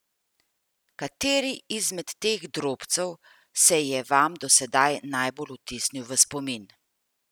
Kateri izmed teh drobcev se je vam do sedaj najbolj vtisnil v spomin?